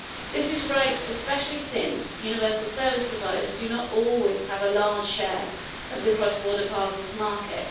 This is right, especially since universal service providers do not always have a large share of the cross border parcels market.